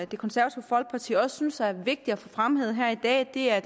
det konservative folkeparti også synes er vigtigt at få fremhævet her i dag er